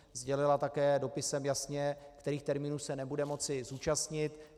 Sdělila také dopisem jasně, kterých termínů se nebude moci zúčastnit.